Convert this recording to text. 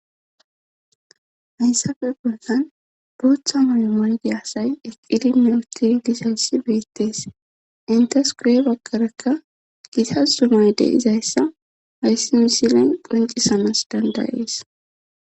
hayssafe boldan booththa mayo maygi asay eqqidi meoti gisayssi beettees intas kurye bagqarakka gitas zumayde izayssa hayssi misilen qoncisamas dandayees